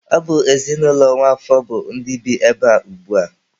Ọ bụ ezinụlọ Nwafor bụ ndị bi ebea ugbua.